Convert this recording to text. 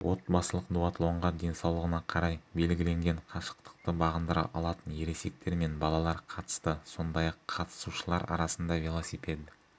отбасылық дуатлонға денсаулығына қарай белгіленген қашықтықты бағындыра алатын ересектер мен балалар қатысты сондай-ақ қатысушылар арасында велосипед